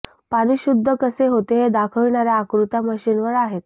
पाणी शुद्ध कसे होते ते दाखविणाऱ्या आकृत्या मशिनवर आहेत